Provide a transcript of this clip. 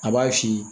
A b'a f'i ye